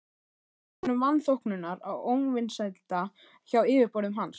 Þetta olli honum vanþóknunar og óvinsælda hjá yfirboðurum hans.